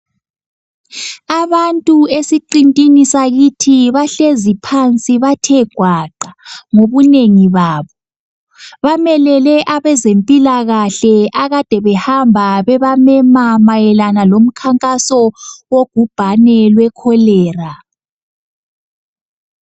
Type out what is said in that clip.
Abantu esiqintini sakithi bahlezi phansi bathe gwaqa ngobunengi babo, bamelele abezempilakahle akade behamba bebamema mayelana lomkhankaso yogubhane lwe cholera.